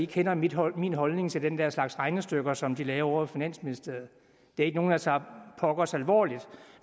kender min holdning holdning til den der slags regnestykker som de laver ovre i finansministeriet det er ikke nogle jeg tager pokkers alvorligt